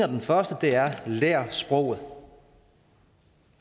den første er lær sproget